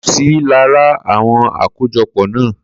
Ko sí lára àwọn akojọpọ na